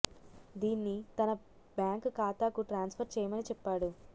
దీన్ని తన బ్యాంకు ఖాతాకు ట్రాన్స్ ఫర్ చేయమని చెప్పాడు